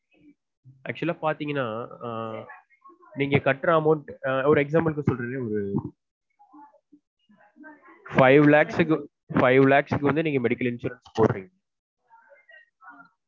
Actual ஆ பாத்தீங்கனா ஆஹ் நீங்க கட்டுற amount ஒரு example க்கு சொல்றது ஒரு five lakhs க்கு வந்து நீங்க medical insurance போடுறீங்க